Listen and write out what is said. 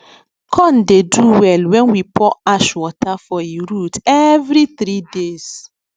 corn dey do well when we pour ash water for e root every three days